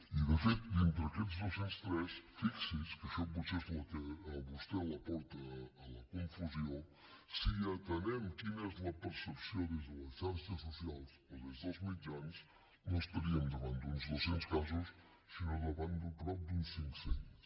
i de fet dintre aquests dos cents i tres fixi s’hi que això potser és el que a vostè la porta a la confusió si atenem quina és la percepció des de les xarxes socials o des dels mitjans no estaríem davant d’uns dos cents casos sinó davant de prop d’uns cinccents